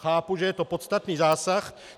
Chápu, že je to podstatný zásah.